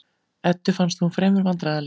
Eddu fannst hún fremur vandræðaleg.